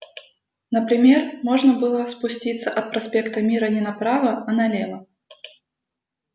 например можно было спуститься от проспекта мира не направо а налево